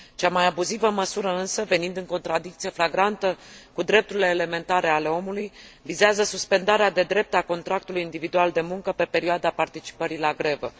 Cea mai abuzivă măsură, însă, venind în contradicție flagrantă cu drepturile elementare ale omului, vizează suspendarea de drept a contractului individual de muncă pe perioada participării la grevă.